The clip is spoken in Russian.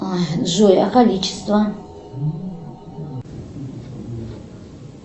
джой а количество